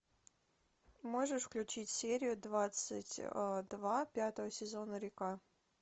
можешь включить серию двадцать два пятого сезона река